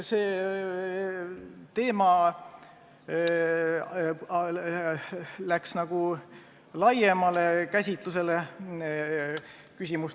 See teema läks nagu laiemale käsitlusele.